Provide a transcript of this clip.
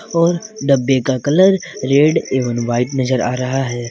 और डब्बे का कलर रेड एवं व्हाइट नजर आ रहा है।